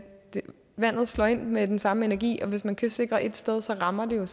vandet slår ind med den samme energi og hvis man kystsikrer ét sted rammer det